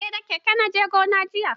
Eh da keke na je gona jiya.